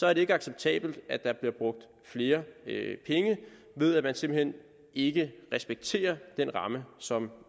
er det ikke acceptabelt at der bliver brugt flere penge ved at man simpelt hen ikke respekterer den ramme som